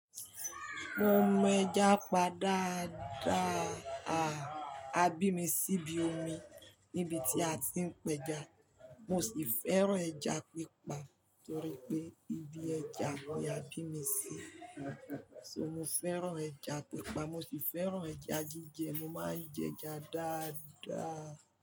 Mo mọ ẹja pa daadáa, a bí mi síbi omi níbi tí a ti ń pẹja. Mo sì fẹ́ràn ẹja pípa torí pé ibi ẹja ni a bí mi sí. So mo fẹ́ràn ẹja pípa, mo sì fẹ́ràn ẹja jíjẹ, mo máa ń jẹ ẹja dáadáa.